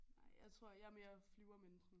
Nej jeg tror jeg er mere flyvermenneske